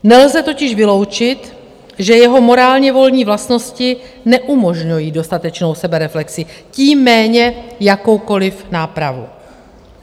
Nelze totiž vyloučit, že jeho morálně-volní vlastnosti neumožňují dostatečnou sebereflexi, tím méně jakoukoliv nápravu.